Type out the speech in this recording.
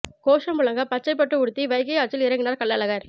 கோஷம் முழங்க பச்சை பட்டு உடுத்தி வைகை ஆற்றில் இறங்கினார் கள்ளழகர்